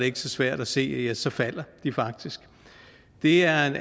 ikke så svært at se at så falder de faktisk det er en